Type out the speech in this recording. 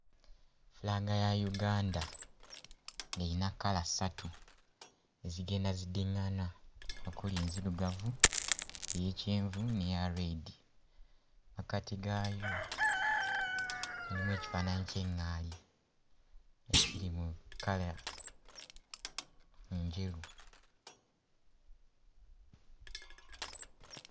Flag ya Uganda eyina kkala ssatu ezigenda ziddiŋŋana okuli enzirugavu, ey'ekyenvu n'eya red. Mmakkati gaayo mulimu ekifaananyi ky'eŋŋaali ekiri mu kkala njeru.